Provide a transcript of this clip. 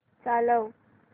चालव